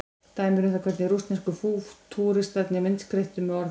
Dæmi um það hvernig rússnesku fútúristarnir myndskreyttu með orðum.